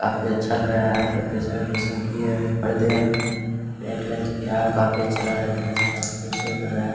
काफी अच्छे लग रहा है डेकोरेशन उकेरेशन किया है पर्दे है पेंट वेंट किया है काफी अच्छे लग रहा है देखने से काफी खूबसूरत लग रहा है।